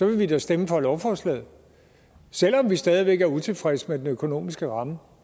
vil vi da stemme for lovforslaget selv om vi stadig væk er utilfredse med den økonomiske ramme